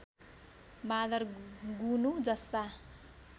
बाँदर गुनु जस्ता